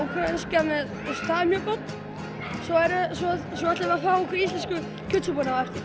úkraínska það er mjög gott svo ætlum við að fá okkur íslensku kjötsúpuna á eftir